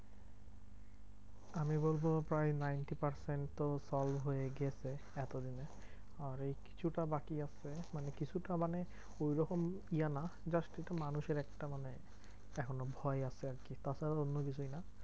আমি বলবো প্রায় ninety percent তো solve হয়ে গেছে এতদিনে। আর এই কিছুটা বাকি আছে, মানে কিছুটা মানে ঐরকম ইয়ে না, just একটু মানুষের একটা মানে এখনো ভয় আছে আরকি, তাছাড়া অন্য কিছুই না।